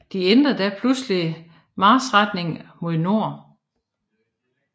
De ændrede da pludselig marchretning mod nord